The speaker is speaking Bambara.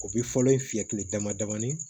O bi fɔlɔ ye fiyɛ kile damadamani ye